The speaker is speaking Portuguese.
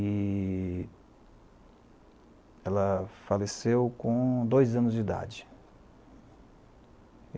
E ela faleceu com dois anos de idade.